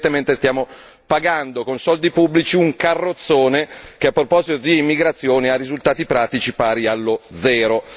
Quindi, evidentemente stiamo pagando con soldi pubblici un carrozzone che a proposito di immigrazione ha risultati pratici pari allo zero.